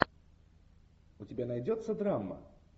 у тебя найдется драма